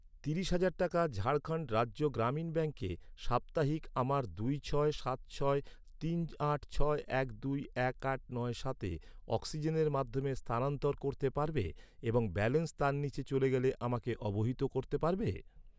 তিরিশ হাজার টাকা ঝাড়খণ্ড রাজ্য গ্রামীণ ব্যাঙ্কে সাপ্তাহিক আমার দুই ছয় সাত ছয় তিন আট ছয় এক দুই এক আট নয় সাতে অক্সিজেনের মাধ্যমে স্থানান্তর করতে পারবে এবং ব্যালেন্স তার নিচে চলে গেলে আমাকে অবহিত করতে পারবে?